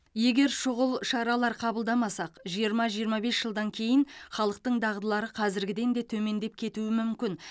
егер шұғыл шаралар қабылдамасақ жиырма жиырма бес жылдан кейін халықтың дағдылары қазіргіден де төмендеп кетуі мүмкін